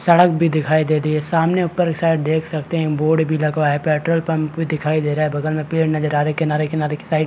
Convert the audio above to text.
सड़क भी दिखाई दे दी है सामने ऊपर एक साइड देख सकते है बोर्ड भी लगा है पेट्रोल पम्प भी दिखाई दे रहा है बगल में पेड़ नज़र आ रहे है किनारे-किनारे के साइड --